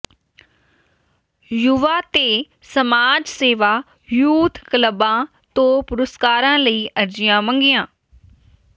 ਯੁਵਾ ਤੇ ਸਮਾਜ ਸੇਵਾ ਯੂਥ ਕਲੱਬਾਂ ਤੋਂ ਪੁਰਸਕਾਰਾਂ ਲਈ ਅਰਜ਼ੀਆਂ ਮੰਗੀਆਂ